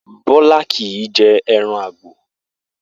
Bó̩lá kì í je̩ e̩ran àgbò